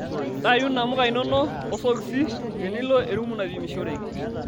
Ntayu namuka inono osokisi tenilo erumu naipimishoreki.